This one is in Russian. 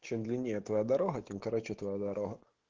чем длиннее твоя дорога тем короче твоя дорога